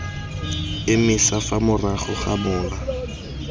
emisa fa morago ga mola